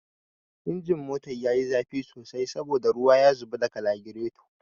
Injin motata ya yi zafi sosai saboda ruwan ya zubo daga lagiraton